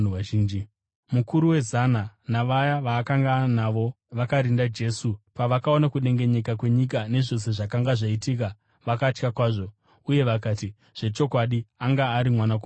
Mukuru wezana navaya vaakanga anavo vakarinda Jesu, pavakaona kudengenyeka kwenyika nezvose zvakanga zvaitika, vakatya kwazvo, uye vakati, “Zvechokwadi, anga ari Mwanakomana waMwari!”